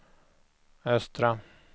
östra